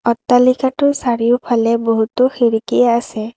অট্টালিকাটোৰ চাৰিওফালৰ বহুতো খিৰিকী আছে।